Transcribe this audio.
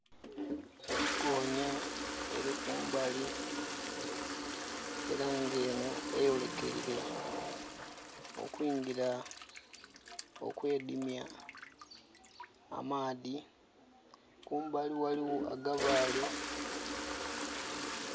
Gonyaa eri kumbali era nga eno eyolekeire okwedimya mu maadhi, kumbali ghaligho agabaale.